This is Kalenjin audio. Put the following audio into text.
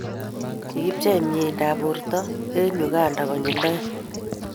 kikibchei meindab borta eng' Uganda konyel oeng'.